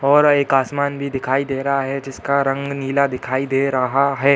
और एक आसमान भी दिखाई दे रहा है जिसका रंग नीला दिखाई दे रहा है|